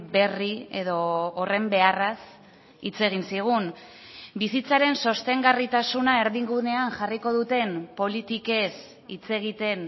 berri edo horren beharraz hitz egin zigun bizitzaren sostengarritasuna erdigunean jarriko duten politikez hitz egiten